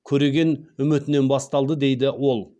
көреген үмітінен басталды дейді ол